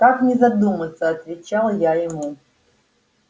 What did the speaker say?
как не задуматься отвечал я ему